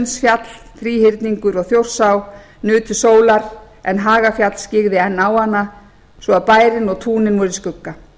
bjólfell selsundsfjall þríhyrningur og þjórsá nutu sólar en hagafjall skyggði enn á hana svo bærinn og túnin voru í skugga